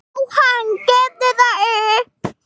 Jóhann: Gefurðu það upp?